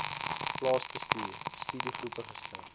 plaasbestuur studiegroepe gestig